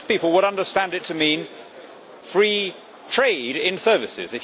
Most people would understand it to mean free trade in services.